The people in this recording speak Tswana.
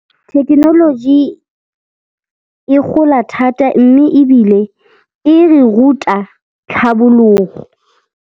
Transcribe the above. Thekenoloji e gola thata mme ebile e re ruta tlhabologo.